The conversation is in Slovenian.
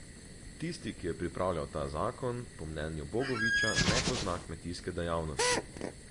Tisti, ki je pripravljal ta zakon, po mnenju Bogoviča ne pozna kmetijske dejavnosti.